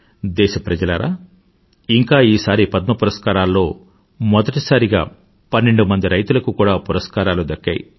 దేశ ప్రజలారా ఇంకా ఈసారి పద్మ పురస్కారాల్లో మొదటిసారిగా పన్నెండుమంది రైతులకు కూడా పురస్కారాలు దక్కాయి